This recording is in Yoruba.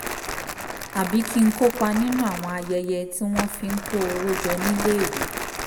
tàbí kí n kópa nínú àwọn ayẹyẹ tí wọ́n fi ń kó owó jọ níléèwé